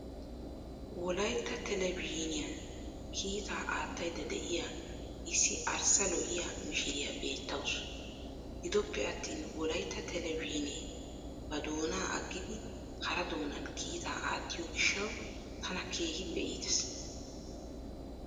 Wolaytta televizhzhiiniyan kiitaa aattaydda de'iya issi arssa lo"iya mishiriya beettawuus. Gidoppe attin wolaytta televizhzhiinee ba doonaa aggidi hara doonan kiitaa aattiyo gishshawu tana keehippe iitees.